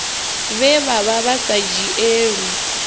vhe vha vha sa dzhielwi